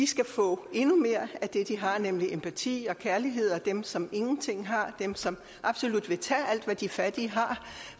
skal få endnu mere af det de har nemlig empati og kærlighed og dem som ingenting har dem som absolut vil tage alt hvad de fattige har